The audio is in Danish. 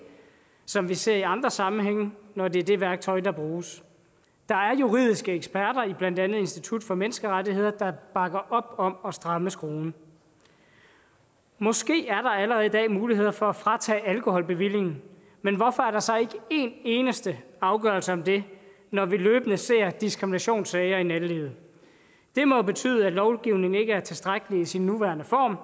som vi ser i andre sammenhænge når det er det værktøj der bruges der er juridiske eksperter blandt andet i institut for menneskerettigheder der bakker op om at stramme skruen måske er der allerede i dag muligheder for at fratage alkoholbevillingen men hvorfor er der så ikke en eneste afgørelse om det når vi løbende ser diskriminationssager i nattelivet det må betyde at lovgivningen ikke er tilstrækkelig i sin nuværende form